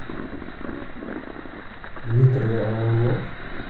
дмитрий орлов